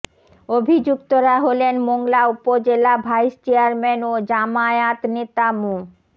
অভিযুক্তরা হলেন মোংলা উপজেলা ভাইস চেয়ারম্যান ও জামায়াত নেতা মো